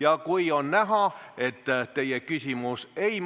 Ja kui on näha, et teie küsimus ei